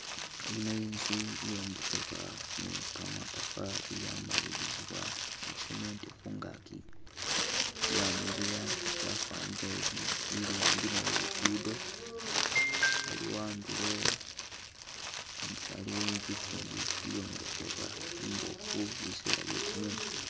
Yino inzu iyombebwa ne kamatafali yamalilizibwa ne cement khungaki yamiliya yafanile oli ili ambi ne lugudo, aliwo andulo, andulo aliwo inzu ikindi iyombekhebwa imbofu biseela bye kumumu.